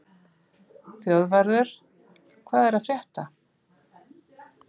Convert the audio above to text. Þjóðvarður, hvað er að frétta?